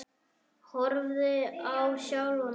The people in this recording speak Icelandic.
Horfi á sjálfa mig.